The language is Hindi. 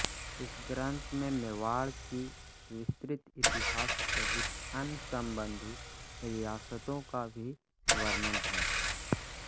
इस ग्रंथ में मेवाड़ के विस्तृत इतिहास सहित अन्य संबंधित रियासतों का भी वर्णन है